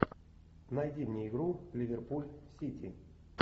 найди мне игру ливерпуль сити